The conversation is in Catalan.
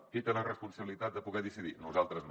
qui té la responsabilitat de poder ho decidir nosaltres no